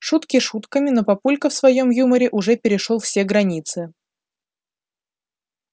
шутки шутками но папулька в своём юморе уже перешёл все границы